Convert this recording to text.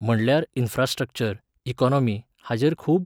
म्हणल्यार infrastructure, economy हाजेर खूब